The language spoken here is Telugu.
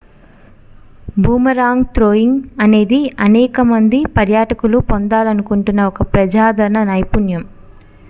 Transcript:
బూమరాంగ్ త్రోయింగ్ అనేది అనేక మంది పర్యాటకులు పొందాలనుకుంటున్న ఒక ప్రజాదరణ నైపుణ్యం